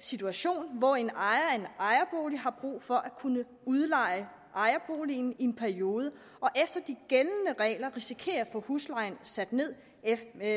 situation hvor en ejer af en ejerbolig har brug for at kunne udleje ejerboligen i en periode og efter de gældende regler risikerer at få huslejen sat ned